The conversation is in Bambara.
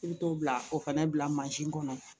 I bɛ t'o bila o fɛnɛ bila kɔnɔ